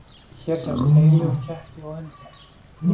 hér sjást heili úr ketti og hundi